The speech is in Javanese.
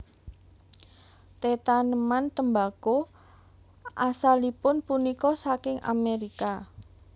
Tetaneman tembako asalipun punika saking Amerika